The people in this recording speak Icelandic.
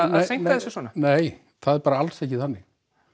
þessu svona nei það er bara alls ekki þannig